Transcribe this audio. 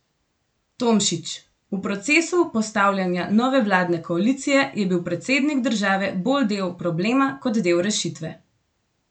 Tomšič: 'V procesu postavljanja nove vladne koalicije je bil predsednik države bolj del problema, kot del rešitve.